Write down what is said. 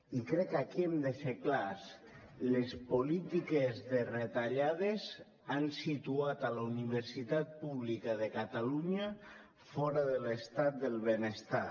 i crec que aquí hem de ser clars les polítiques de retallades han situat la universitat pública de catalunya fora de l’estat del benestar